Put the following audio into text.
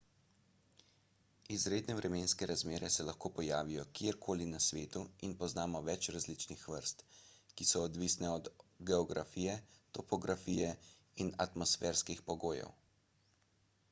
izredne vremenske razmere se lahko pojavijo kjerkoli na svetu in poznamo več različnih vrst ki so odvisne od geografije topografije in atmosferskih pogojev